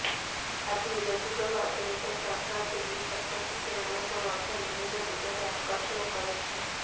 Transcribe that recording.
ଆଧୁନିକ ଯୁଗ ଓ ଆଧୁନିକ ସହର ଦିଲ୍ଲୀ ଛାତ୍ରଛାତ୍ରୀମାନଙ୍କୁ ମଧ୍ୟ ବିଭିନ୍ନ ଦିଗରେ ଆକର୍ଷଣ କରିଥାଏ